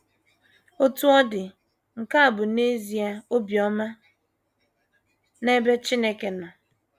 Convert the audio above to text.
Otú ọ dị, nke a bụ n’ezie obiọma n’ebe Chineke nọ.